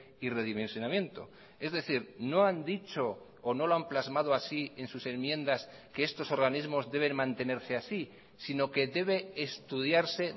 y redimensionamiento es decir no han dicho o no lo han plasmado así en sus enmiendas que estos organismos deben mantenerse así sino que debe estudiarse